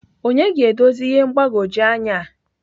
onye ga-edozi ihe mgbagwoju anya a?.